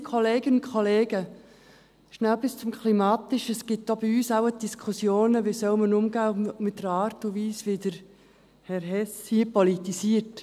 Schnell etwas zum Klimatischen: Es gibt wohl auch bei uns Diskussionen, wie man mit der Art und Weise umgehen soll, wie Herr Hess hier politisiert.